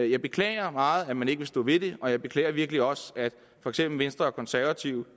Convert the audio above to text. jeg beklager meget at man ikke vil stå ved det og jeg beklager virkelig også at for eksempel venstre og konservative